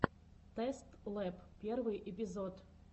тэст лэб первый эпизод